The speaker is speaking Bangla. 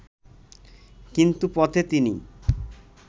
কিন্তু পথে তিনি